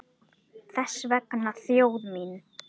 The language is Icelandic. Þess vegna þjóð mín!